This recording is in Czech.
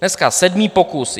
Dneska sedmý pokus.